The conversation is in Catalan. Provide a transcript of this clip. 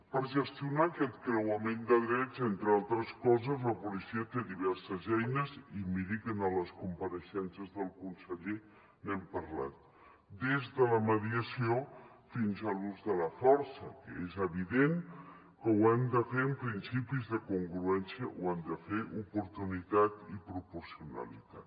per gestionar aquest creuament de drets entre altres coses la policia té diverses eines i miri que en les compareixences del conseller n’hem parlat des de la mediació fins a l’ús de la força que és evident que ho han de fer amb principis de congruència ho han de fer oportunitat i proporcionalitat